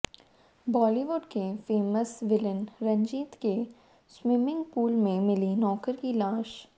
बॉलीवुड के फेसम विलेन रंजीत के स्वीमिंग पूल में मिली नौकर की लाश